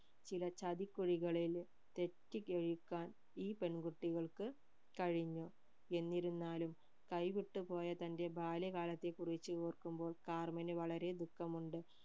ചില ചതി കുഴികളിൽ തെറ്റ് ഈ പെൺ കുട്ടികൾക്ക് കഴിഞ്ഞു എന്നിരുന്നാലും കൈവിട്ട്പോയ തന്റെ ബാല്യകാലത്തെ കുറിച് ഓർക്കുമ്പോൾ കാർമിനു വളരെ ദുഖമുണ്ട്